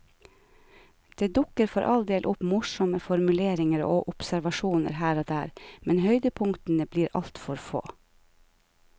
Det dukker for all del opp morsomme formuleringer og observasjoner her og der, men høydepunktene blir altfor få.